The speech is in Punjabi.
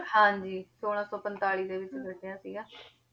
ਹਾਂਜੀ, ਛੋਲਾਂ ਸੌ ਪੰਤਾਲੀ ਦੇ ਵਿੱਚ ਗੱਢਿਆ ਸੀਗਾ